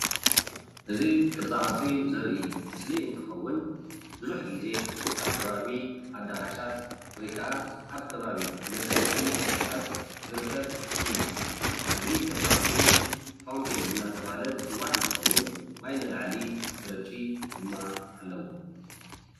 እዚ ቅርፃ ቅርፂ ዘርኢ ምስሊ እንትከውን ብዙሕ ግዜ ኣብ ከባቢ ኣዳራሻት ወይ ከዓ ኣብ ከባቢ መሰብሰቢ ዝርከብ እዩ፡፡ እዚ ቅርፃ ቅርፂ ፋውንቴን እንዳተባሃለ ዝፅዋዕ እንትከውን ማይ ንላዕሊ ዝረጪ ድማ ኣለዎ፡፡